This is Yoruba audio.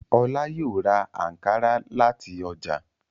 Ọlá yóò ra àǹkárá láti ọjà.